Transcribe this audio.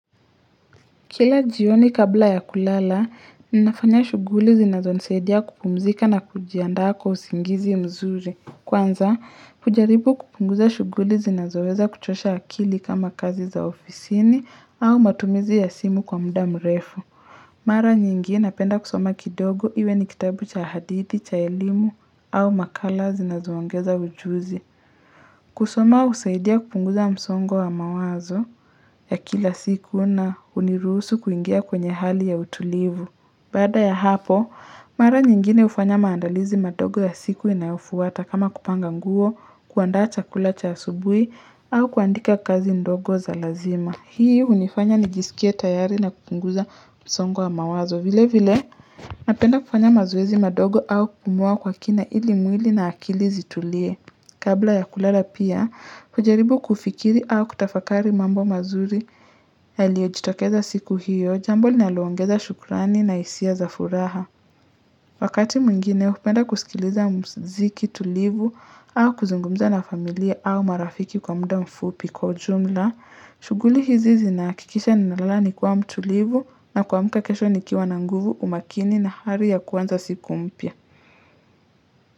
Kila jioni kabla ya kulala, ninafanya shuguli zinazo nisaidia kupumzika na kujiandaa kwa usingizi mzuri. Kwanza, hujaribu kupunguza shuguli zinazoweza kuchosha akili kama kazi za ofisini au matumizi ya simu kwa muda mrefu. Mara nyingi napenda kusoma kidogo iwe ni kitabu cha hadithi, cha elimu au makala zinazoangeza ujuzi. Kusoma husaidia kupunguza msongo wa mawazo ya kila siku na huniruhusu kuingia kwenye hali ya utulivu. Baada ya hapo, mara nyingine hufanya maandalizi madogo ya siku inayofuata kama kupanga nguo, kuandaa chakula cha asubui au kuandika kazi ndogo za lazima. Hii hunifanya nijisikie tayari na kupunguza msongo wa mawazo. Vile vile, napenda kufanya mazoezi madogo au kupumua kwa kina ili mwili na akili zitulie. Kabla ya kulala pia, hujaribu kufikiri au kutafakari mambo mazuri yalio jitokeza siku hiyo, jambo linalongeza shukurani na hisia za furaha. Wakati mwingine, upenda kusikiliza mziki tulivu au kuzungumza na familia au marafiki kwa muda mfupi kwa ujumla, shuguli hizi zina hakikisha nina lala nikiwa mtulivu na kuamuka kesho nikiwa na nguvu umakini na hari ya kuanza siku mpya.